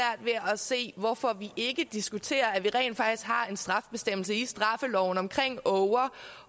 at se hvorfor vi ikke diskuterer at vi rent faktisk har en straffebestemmelse i straffeloven om åger